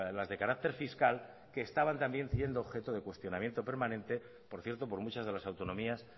las de carácter fiscal que estaban también siendo objeto de cuestionamiento permanente por cierto por muchas de las autonomías